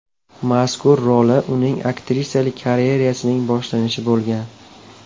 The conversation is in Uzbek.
Mazkur roli uning aktrisalik karyerasining boshlanishi bo‘lgan.